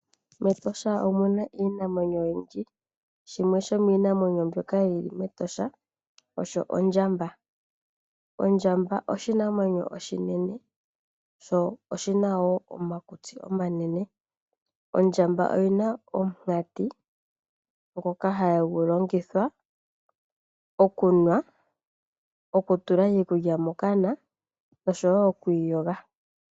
MEtosha omuna iinamwenyo oyindji. Shimwe shomiinamwenyo mbyoka yili mEtosha osho ondjamba. Ondjamba oshinamwenyo oshinene sho oshina wo omakutsi omanene. Ondjamba oyina omunkati ngoka hagu longithwa okunwa, oku tula iikulya mokana oshowo okuyoga.